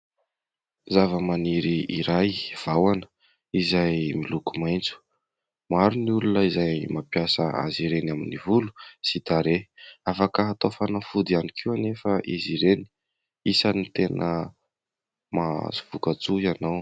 Zava-maniry iray "Vahona" izay miloko maitso ; maro ny olona izay mampiasa azy ireny amin'ny volo sy tarehy ; afaka hatao fanafody ihany koa anefa izy ireny. Isan'ny tena mahazo voka-tsoa ianao.